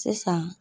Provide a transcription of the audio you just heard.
Sisan